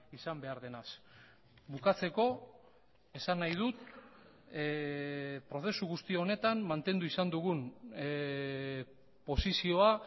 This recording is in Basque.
izan behar denaz bukatzeko esan nahi dut prozesu guzti honetan mantendu izan dugun posizioa